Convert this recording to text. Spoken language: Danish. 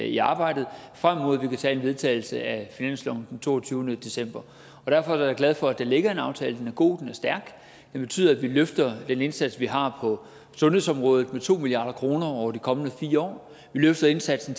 i arbejdet frem mod at vi kan vedtage finansloven den toogtyvende december derfor er jeg glad for at der ligger en aftale den er god den er stærk den betyder at vi løfter den indsats vi har på sundhedsområdet med to milliard kroner over de kommende fire år vi løfter indsatsen